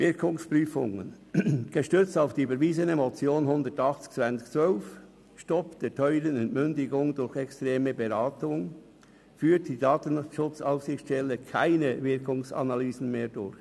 Wirkungsprüfungen: Gestützt auf die überwiesene Motion 180-2012 «Stopp der teuren Entmündigung durch externe Beratung» führt die DSA keine Wirkungsanalysen mehr durch.